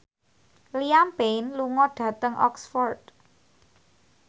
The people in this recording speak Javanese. Liam Payne lunga dhateng Oxford